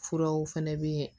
Furaw fɛnɛ bɛ